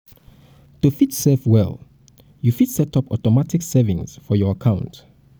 to fit save well you fit set up automatic savings for your account